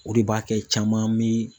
O de b'a kɛ caman mi